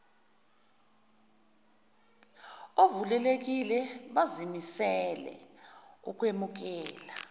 ovulelekile bazimisele ukwemukela